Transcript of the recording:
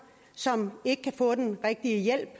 som ikke kan få den rigtige hjælp